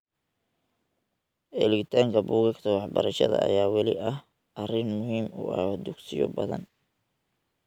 Helitaanka buugaagta waxbarashada ayaa weli ah arrin muhiim u ah dugsiyo badan.